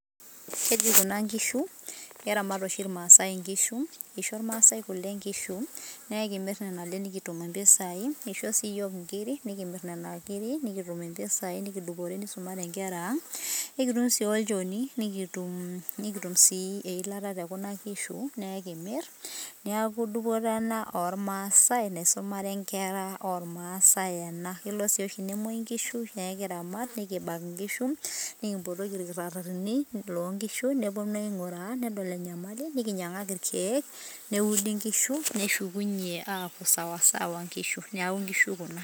Keji kuna inkishu, keramat oshi ilmaasae inkishu. Keisho imaasae kule nkishu naa ekimirr nena ale nikitum mpisai, nisho sii iyiok inkirik nikimir nena kirik nikitum mpisai nikidupore neisumare nkera ang. Ekitum sii olchoni, nikitum nikutum sii eilata te kuna kishu naa ekimirr niaku dupoto ena oo ilmaasai naisumare inkera oo ilmaasai ena. Kelo sii oshi nemuoyu nkishu neekibak nikiramat nkishu nikimpotoki ilkitarrini loo nkishu neponu aing`uraa nedol e nyamali, nikinyiang`aki ilkiek neudi nkishu. Neshukunyie aaku sawasawa nkishu, niaku nkishu kuna.